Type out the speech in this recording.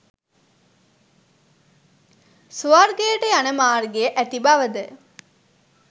ස්වර්ගයට යන මාර්ගය ඇති බවද